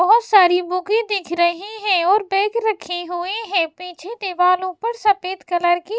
बहोत सारी बुकें दिख रहे हैं और बैग रखे हुए हैं पीछे दीवालों पर सफेद कलर की --